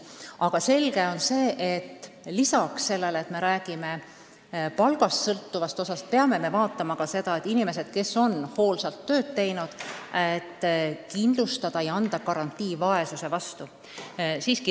Aga selge on ka see, et lisaks palgast sõltuvale osale me peame kindlustama ka selle, et inimesed, kes on hoolsalt tööd teinud, saaksid garantii vaesuse vastu.